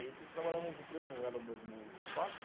trabalhava na mesma empresa, não era o mesmo espaço.